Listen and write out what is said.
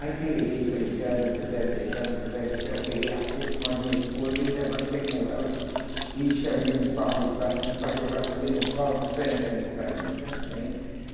Aí, pelejei, pelejei, elas não quiseram deixar, não quiseram deixar, eu peguei a pulso mais minha esposa, aí levantamos ela e chamamos um carro de praça, que o carro de praça ali não falta, só entrando e saindo, entrando e saindo.